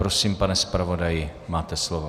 Prosím, pane zpravodaji, máte slovo.